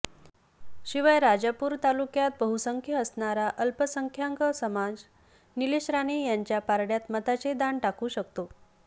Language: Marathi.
शिवाय राजापूर तालुक्यात बहुसंख्य असणारा अल्पसंख्याक समाज नीलेश राणे यांच्या पारड्यात मताचे दान टाकू शकतो